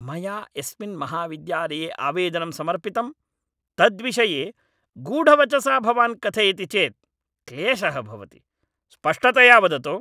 मया यस्मिन् महाविद्यालये आवेदनं समर्पितं तद्विषये गूढवचसा भवान् कथयति चेत् क्लेशः भवति। स्पष्टतया वदतु।